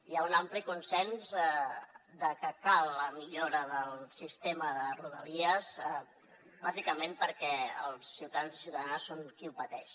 hi ha un ampli consens que cal la millora del sistema de rodalies bàsicament perquè els ciutadans i ciutadanes són qui ho pateix